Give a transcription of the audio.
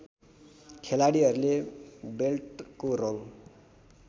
खेलाडीहरुको बेल्टको रङ